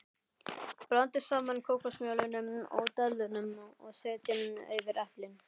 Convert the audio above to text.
Blandið saman kókosmjölinu og döðlunum og setjið yfir eplin.